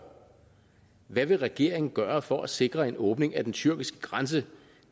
hvad vil regeringen gøre for at sikre en åbning af den tyrkiske grænse